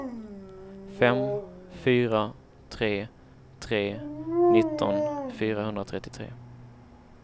fem fyra tre tre nitton fyrahundratrettiotre